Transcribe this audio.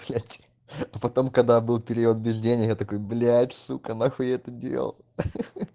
блять а потом когда был период без денег я такой блять сука нахуй я это делал ха ха ха